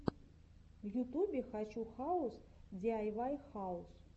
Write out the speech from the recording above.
в ютубе хочу хаус диайвай хаус